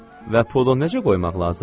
Və pulu necə qoymaq lazımdır?